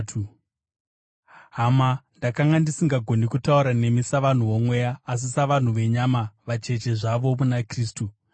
Hama, ndakanga ndisingagoni kutaura nemi savanhu vomweya asi savanhu venyama, vacheche zvavo muna Kristu.